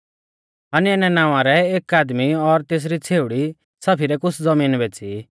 हनन्याह नावां रै एक आदमी और तेसरी छ़ेउड़ी सफीरै कुछ़ ज़बीन बेच़ी